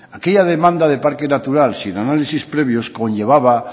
aquella demanda de parques naturales sin análisis previos conllevaba